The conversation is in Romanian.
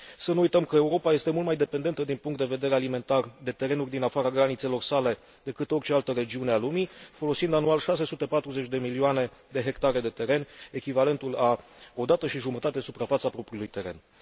Să nu uităm că Europa este mult mai dependentă din punct de vedere alimentar de terenuri din afara granițelor sale decât orice altă regiune a lumii, folosind anual 640 de milioane de hectare de teren, echivalentul a o dată și jumătate suprafața propriilor terenuri.